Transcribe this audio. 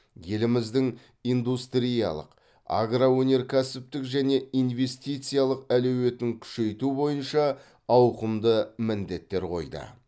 еліміздің индустриялық агроөнеркәсіптік және инвестициялық әлеуетін күшейту бойынша ауқымды міндеттер қойды